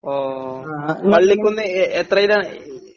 ഓ പള്ളിക്കുന്ന് എ എത്രയിലാ?